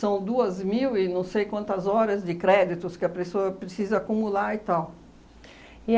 duas mil e não sei quantas horas de créditos que a pessoa precisa acumular e tal.